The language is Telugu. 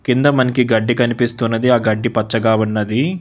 కింద మనకి గడ్డి కనిపిస్తున్నది ఆ గడ్డి పచ్చగా ఉన్నది.